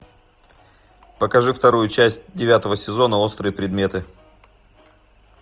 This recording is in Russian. покажи вторую часть девятого сезона острые предметы